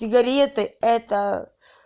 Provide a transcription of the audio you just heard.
сигареты это